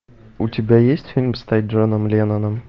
у тебя есть фильм стать джоном ленноном